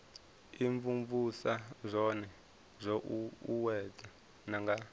imvumvusa zwone zwo uuwedzwa nga